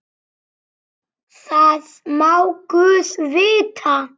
Það má guð vita.